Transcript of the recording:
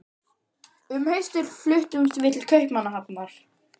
Um haustið fluttumst við til Kaupmannahafnar.